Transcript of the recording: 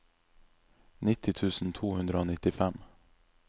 nitti tusen to hundre og nittifem